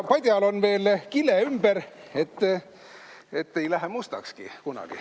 Padjal on veel kile ümber, et ei lähegi kunagi mustaks.